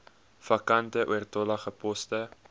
vakante oortollige poste